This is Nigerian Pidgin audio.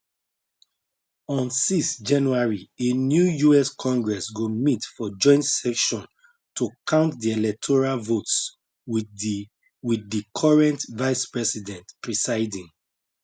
on 6 january a new us congress go meet for joint session to count di electoral votes wit di wit di current vicepresident presiding